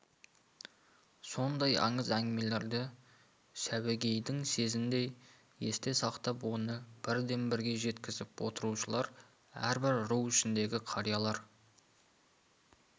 сондай аңыз әңгімелерді сәуегейдің сөзіндей есте сақтап оны бірден-бірге жеткізіп отырушылар әрбір ру ішіндегі қариялар